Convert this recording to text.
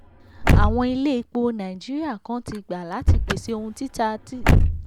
àwọn ilé epo nàìjíríà kan ti gba láti pèsè ohun ètò títà cng cs].